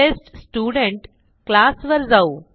test student class वर जाऊ